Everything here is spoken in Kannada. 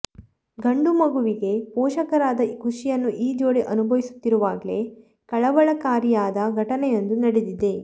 ಗಂಡು ಮಗುವಿಗೆ ಪೋಷಕರಾದ ಖುಷಿಯನ್ನು ಈ ಜೋಡಿ ಅನುಭವಿಸುತ್ತಿರುವಾಗ್ಲೇ ಕಳವಳಕಾರಿಯಾದ ಘಟನೆಯೊಂದು ನಡೆದಿದೆ